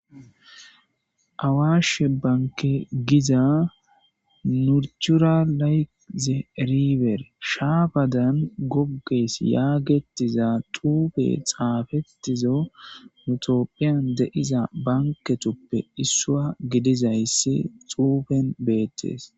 Awaashe bankke giza eriber shapadan gogetes getes xufe xafetida etophiyan betiza banketkupe betiza gidizaysi beerees